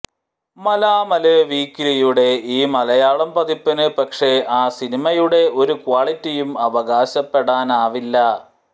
മലാമല് വീക്ക്ലിയുടെ ഈ മലയാളം പതിപ്പിന് പക്ഷേ ആ സിനിമയുടെ ഒരു ക്വാളിറ്റിയും അവകാശപ്പെടാനാവില്ല